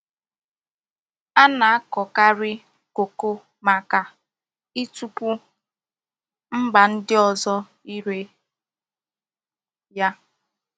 A na-akukari koko maka itupu MBA ndi ozo ire ya.